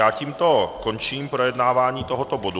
Já tímto končím projednávání tohoto bodu.